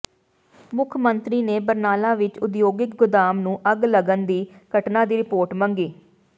ਮੁੱਖ ਮੰਤਰੀ ਨੇ ਬਰਨਾਲਾ ਵਿੱਚ ਉਦਯੋਗਿਕ ਗੋਦਾਮ ਨੂੰ ਅੱਗ ਲੱਗਣ ਦੀ ਘਟਨਾ ਦੀ ਰਿਪੋਰਟ ਮੰਗੀ